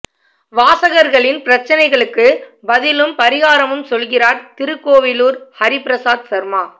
வாசகர்களின் பிரச்னைகளுக்கு பதிலும் பரிகாரமும் சொல்கிறாா் திருக்கோவிலூர் ஹரிபிரசாத் சர்மா